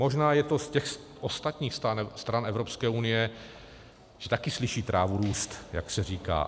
Možná je to z těch ostatních stran Evropské unie, že taky slyší trávu růst, jak se říká.